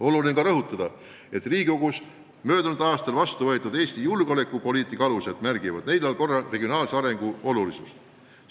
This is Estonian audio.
Oluline on rõhutada, et Riigikogus möödunud aastal heaks kiidetud Eesti julgeolekupoliitika alustes märgitakse neljal korral regionaalse arengu tähtsust.